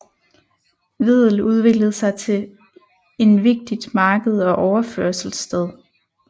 Wedel udviklede sig til en vigtigt marked og overførselssted